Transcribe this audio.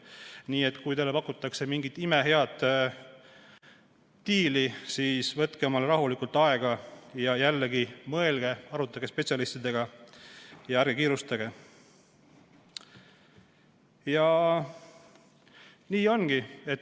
Nii et kui teile pakutakse mingit imehead diili, siis võtke endale rahulikult aega ja mõelge, arutage spetsialistidega ja ärge kiirustage.